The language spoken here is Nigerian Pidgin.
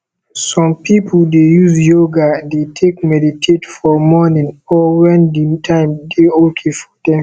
some pipo dey use yoga dey take meditate for morning or when di time dey okay for them